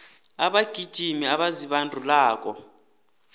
abagijimi abazibandulako